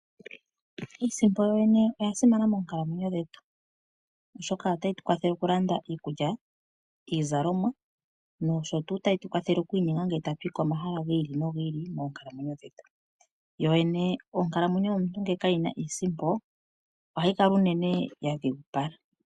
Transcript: Iisimpo yoyene oya simana moonkalamwenyo dhetu, oshoka otayi tu kwathele okulanda iikulya, iizalomwa noshowo tayi tu kwathele okuinyenga ngele tatu yi komahala gi ili nogi ili moonkalamwenyo dhetu. Onkalamwenyo ngele kayi na iisimpo ohayi kala unene ya dhigupala.